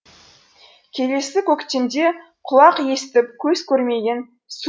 келесі көктемде құлақ естіп көз көрмеген су